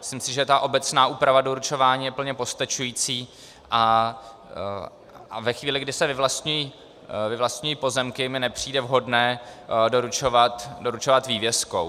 Myslím si, že ta obecná úprava doručování je plně postačující, a ve chvíli, kdy se vyvlastňují pozemky, mi nepřijde vhodné doručovat vývěskou.